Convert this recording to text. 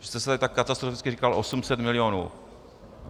Vy jste tady tak katastroficky říkal 800 milionů.